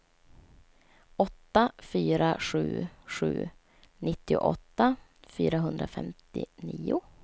åtta fyra sju sju nittioåtta fyrahundrafemtionio